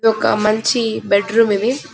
ఇది ఒక మంచి బెడిరూం ఇది --